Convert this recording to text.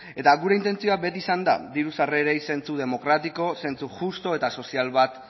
eta gure intentzioa beti izan da diru sarrerei zentzu demokratiko zentzu justu eta sozial bat